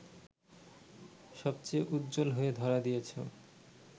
সবচেয়ে উজ্জ্বল হয়ে ধরা দিয়েছ